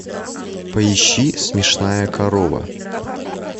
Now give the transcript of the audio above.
поищи смешная корова